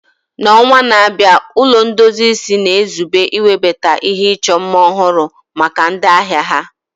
N'ọnwa na-abịa, Ụlọ ndozi isi na-ezube iwebata ihe ịchọ mma ọhụrụ maka ndị ahịa ha.